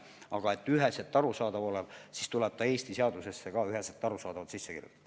Aga et see üheselt arusaadav oleks, tuleb see Eesti seadusesse ka üheselt arusaadavalt sisse kirjutada.